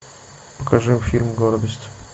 покажи фильм гордость